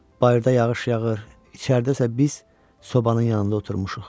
Bayırda yağış yağır, içəridə isə biz sobanın yanında oturmuşuq.